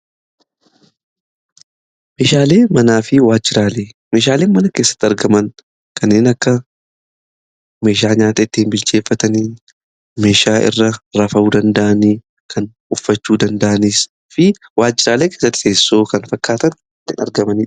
Meeshaaleen mana keessatti argaman kanneen akka meeshaa nyaata itti bilcheeffatanii meeshaa irra rafuu danda'an kan uffachuu danda'anii fi waajjiraalee keessa teessoo kan fakkaatanii argamanidha.